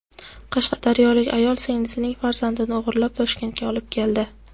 Qashqadaryolik ayol singlisining farzandini o‘g‘irlab Toshkentga olib keldi.